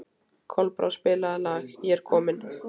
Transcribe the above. Kolbrá, spilaðu lagið „Ég er kominn“.